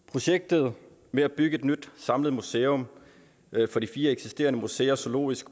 projektet med at bygge et nyt samlet museum for de fire eksisterende museer zoologisk